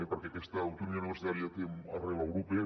perquè aquesta autonomia universitària té arrel europea